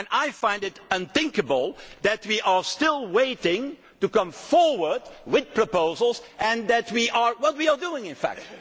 I find it unthinkable that we are still waiting to come forward with proposals and what are we doing, in